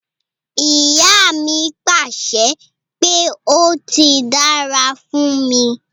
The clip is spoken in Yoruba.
Iya mi pàṣẹ pé 'ó ti dára fún mi'.